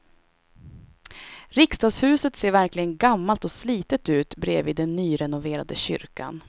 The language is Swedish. Riksdagshuset ser verkligen gammalt och slitet ut bredvid den nyrenoverade kyrkan.